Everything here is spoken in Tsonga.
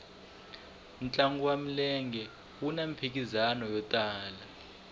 ntlangu wa milenge wuna mphikizano yo tala